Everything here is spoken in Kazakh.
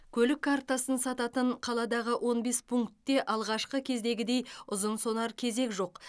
көлік картасын сататын қаладағы он бес пунктте алғашқы кездегідей ұзын сонар кезек жоқ